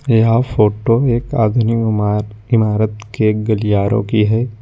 यह फोटो एक आधुनिक इमा-इमारत के गलियारों की है।